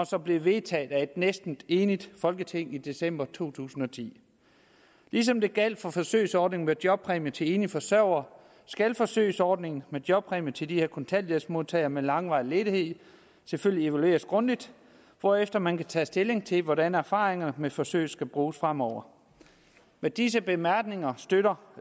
som blev vedtaget af et næsten enigt folketing i december to tusind og ti ligesom det gjaldt for forsøgsordningen med jobpræmier til enlige forsørgere skal forsøgsordningen med jobpræmier til de her kontanthjælpsmodtagere med langvarig ledighed selvfølgelig evalueres grundigt hvorefter man kan tage stilling til hvordan erfaringerne med forsøget skal bruges fremover med disse bemærkninger støtter